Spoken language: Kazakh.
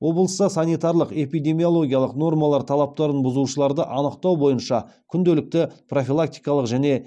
облыста санитарлық эпидемиологиялық нормалар талаптарын бұзушыларды анықтау бойынша күнделікті профилактикалық және